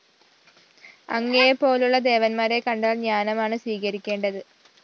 അങ്ങയെപ്പോലുള്ള ദേവന്മാരെ കണ്ടാല്‍ ജ്ഞാനമാണ് സ്വീകരിക്കേണ്ടത്